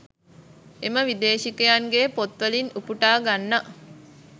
එම විදේශිකයන්ගේ පොත්වලින් උපුටා ගන්නා